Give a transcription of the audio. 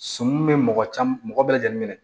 Sɔmi bɛ mɔgɔ caman mɔgɔ bɛɛ lajɛlen minɛ